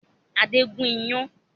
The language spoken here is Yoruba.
Adé ń gùn iyán